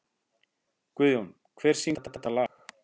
Guðjón, hver syngur þetta lag?